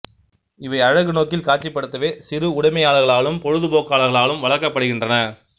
இவை அழகு நோக்கில் காட்சிப்படுதவே சிறு உடைமையாளர்களாலும் பொழுதுபொக்காளர்களாலும் வளர்க்கப்படுகின்றன